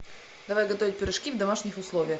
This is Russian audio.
давай готовить пирожки в домашних условиях